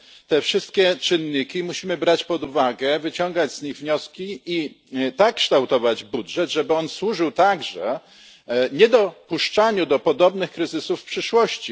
Te wszystkie czynniki musimy brać pod uwagę, wyciągać z nich wnioski i tak kształtować budżet, żeby on służył także niedopuszczaniu do podobnych kryzysów w przyszłości.